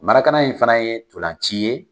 in fana ye tolanci ye.